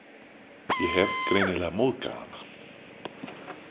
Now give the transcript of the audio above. Ég hef greinilega móðgað hana.